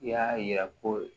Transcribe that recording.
I y'a yira ko